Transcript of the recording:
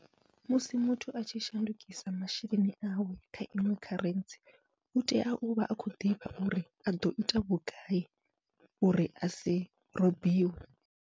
Musi muthu atshi shandukisa masheleni awe kha iṅwe kharentsi, u tea uvha a khou ḓivha uri aḓo ita vhugai uri asi robiwe.